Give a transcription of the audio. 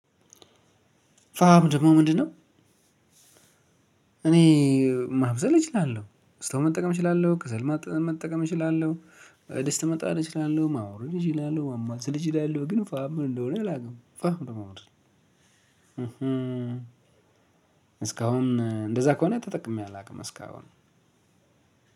ፋም ደግሞ ምንድነው? እኔ ማብሰል እችላለሁ ስቶቭ መጠቀም እችላለሁ ከሰል መጠቀም እችላለሁ ድስት መጣል እችላለሁ ማውረድ እችላለሁ ማማሰል እችላለሁ። ግን ፋም ምን እንደሆነ አላውቅም ፋም ደግሞ ምንድነው? እህ እስካሁን እንደዛ ከሆነ ተጠቅሜ አላውቅም እስካሁን